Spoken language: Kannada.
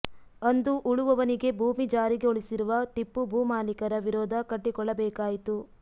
ಅಂದು ಉಳುವವನಿಗೆ ಭೂಮಿ ಜಾರಿಗೊಳಿಸಿರುವ ಟಿಪ್ಪು ಭೂ ಮಾಲಿಕರ ವಿರೋಧ ಕಟ್ಟಿಕೊಳ್ಳಬೇಕಾಯಿತು